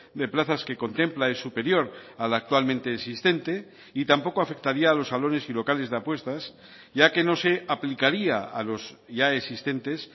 de plazas que contempla es superior al actualmente existente y tampoco afectaría a los salones y locales de apuestas ya que no se aplicaría a los ya existentes